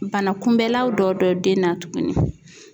Bana kunbɛlaw dɔ don den na tuguni.